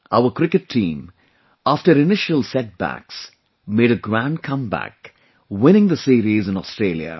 Our cricket team, after initial setbacks made a grand comeback, winning the series in Australia